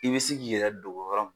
I bɛ se k'i yɛrɛ dogo yɔrɔn